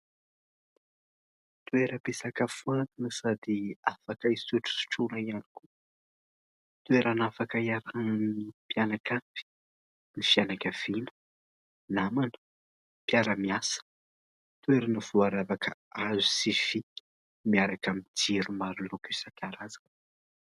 Toeram-pisakafoana sady afaka hisotrosotrona ihany koa. Toerana afaka iarahan'ny mpianakavy, ny fianakaviana, namana, mpiara-miasa. Toerana voaravaka hazo sy fefy miaraka amin'ny jiro maro loko isankarazany.